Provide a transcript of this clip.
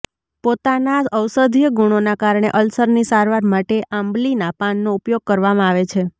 પોતાના ઔષધીય ગુણોના કારણે અલ્સરની સારવાર માટે આંબલીના પાનનો ઉપયોગ કરવામાં આવે છે